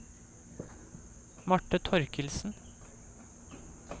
Marte Thorkildsen